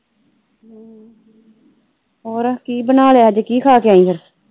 ਹੋਰ ਕੀ ਬਣਾਲਿਆ ਅੱਜ ਕੀ ਖਾ ਕੇ ਆਈ ਫਿਰ?